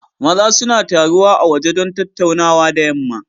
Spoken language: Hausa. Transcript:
Maza suna taruwa a waje don tattaunawa da yamma.